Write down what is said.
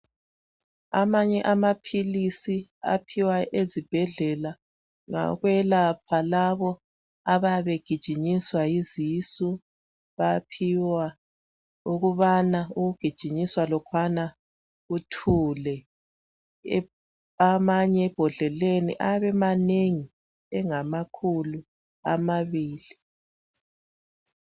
Amanye amaphilisi aphiwa ezibhedlela ngawokwelapha labo abayabe begijinyiswa yisisu . Baphiwa ukubana ujugijinyiswa lokhwana kuthule . Amanye ebhodleleni ayabe emanengi engamakhulu amabili.